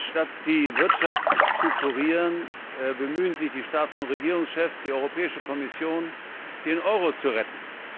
Statt die Wirtschaft zu kurieren, bemühen sich die Staats und Regierungschefs und die Europäische Kommission, den Euro zu retten.